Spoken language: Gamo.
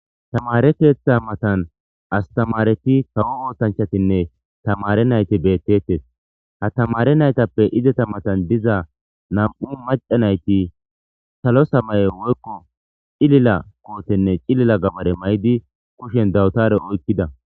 Tamare keetha matan astamareti tawo ootanchatinne tamare nayti beettetes ha tamare naytappe izeta matan diza na'mu maca nayti salo samaye woykko cilila kootenne cilila gabare maydi kushen dawutare oykkida